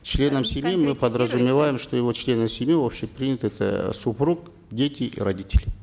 членам семьи мы подразумеваем что его члены семьи общепринятые это супруг дети и родители